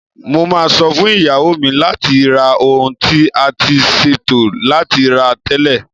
Mo máa sọ fún ìyàwó mi láti ra ohun tí a ti ṣètò láti rà tẹ́lẹ̀.